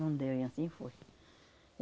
Não deu e assim foi.